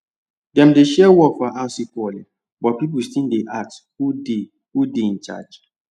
dem share work for house equally but people still dey ask who dey who dey in charge